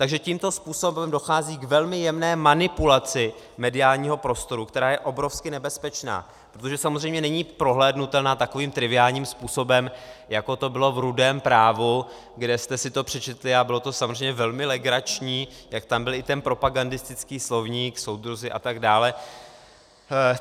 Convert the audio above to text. Takže tímto způsobem dochází k velmi jemné manipulaci mediálního prostoru, která je obrovsky nebezpečná, protože samozřejmě není prohlédnutelná takovým triviálním způsobem, jako to bylo v Rudém právu, kde jste si to přečetli, a bylo to samozřejmě velmi legrační, jak tam byl i ten propagandistický slovník, soudruzi atd.